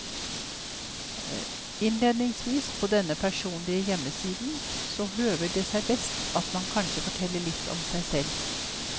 Innledningsvis på denne personlige hjemmesiden så høver det seg best at man kanskje forteller litt om seg selv.